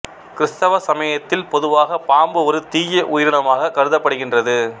கிறிஸ்தவ சமயத்தில் பொதுவாக பாம்பு ஒரு தீய உயிரினமாகக் கருதப்படுகின்றது